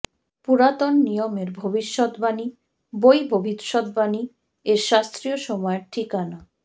পুরাতন নিয়মের ভবিষ্যদ্বাণী বই ভবিষ্যদ্বাণী এর শাস্ত্রীয় সময়ের ঠিকানা